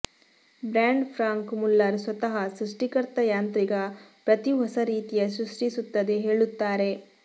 brand Franck Muller ಸ್ವತಃ ಸೃಷ್ಟಿಕರ್ತ ಯಾಂತ್ರಿಕ ಪ್ರತಿ ಹೊಸ ರೀತಿಯ ಸೃಷ್ಟಿಸುತ್ತದೆ ಹೇಳುತ್ತಾರೆ